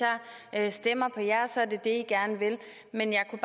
jeg stemmer på jer så er det det i gerne vil men jeg kunne